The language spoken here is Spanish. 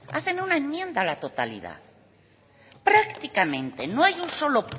hacen una enmienda a la totalidad prácticamente no hay un solo